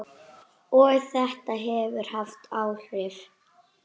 Og þetta hefur haft áhrif.